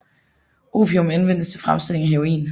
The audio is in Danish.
Opium anvendes til fremstillingen af heroin